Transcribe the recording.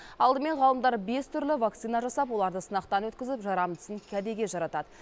алдымен ғалымдар бес түрлі вакцина жасап оларды сынақтан өткізіп жарамдысын кәдеге жаратады